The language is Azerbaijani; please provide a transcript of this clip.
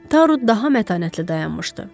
Taru daha mətanətli dayanmışdı.